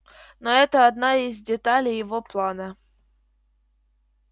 но это одна из деталей его плана